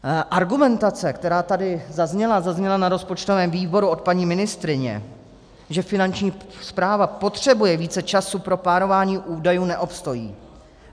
Argumentace, která tady zazněla, zazněla na rozpočtovém výboru od paní ministryně, že Finanční správa potřebuje více času pro plánování údajů, neobstojí.